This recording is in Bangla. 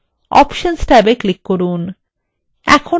options ট্যাবে click করুন